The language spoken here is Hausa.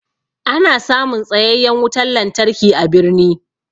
Ana samun tsayayyan wutan lantarki a birni.